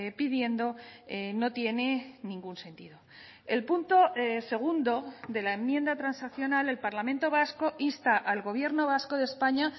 pidiendo no tienen ningún sentido el punto segundo de la enmienda transaccional el parlamento vasco insta al gobierno vasco de españa